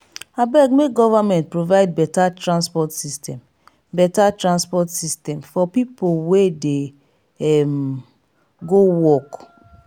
abeg make government provide beta transport system beta transport system for people wey dey um go work.